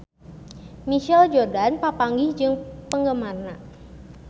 Michael Jordan papanggih jeung penggemarna